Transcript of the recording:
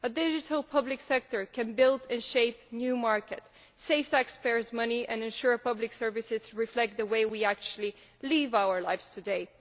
A digital public sector can build and shape new markets, save taxpayers money and ensure public services reflect the way we actually live our lives today.